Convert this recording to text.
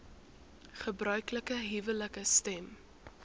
gebruiklike huwelike stem